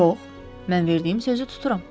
Yox, mən verdiyim sözü tuturam.